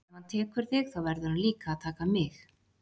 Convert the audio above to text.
Ef hann tekur þig þá verður hann líka að taka mig.